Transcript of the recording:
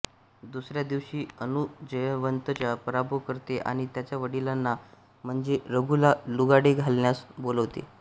दुसर्या दिवशी अनु जयवंतचा पराभव करते आणि त्याच्या वडिलांना म्हणजे रघुला लुगाडे घालण्यास बोलवते